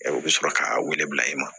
U bɛ sɔrɔ k'a wele bila i ma